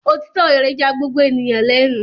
Òtítọ́ rẹ̀ ya gbogbo ènìyàn lẹ́nu.